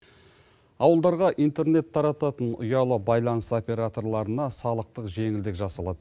ауылдарға интернет тарататын ұялы байланыс операторларына салықтық жеңілдік жасалады